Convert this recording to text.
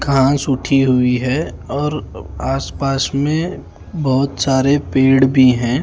घास उठी हुई हैं और आस पास में बहोत सारे पेड़ भी है।